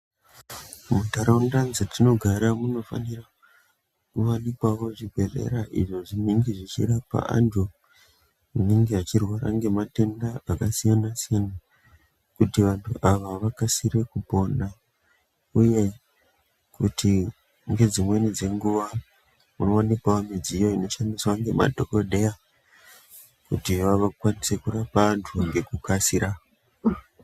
Muntaraunda dzatinogara munofanira kuwanikwawo zvibhedhlera izvo zvinenge zvichirapa antu anenge achirwara ngematenda akasiyana siyana, kuti vanhu ava vakasire kupona, uye kuti ngedzimweni dzenguva powanikwawo midziyo idzo dzinoshandiswa nemadhokodheya kuti vakwanise kurapa vantu ngekukasira.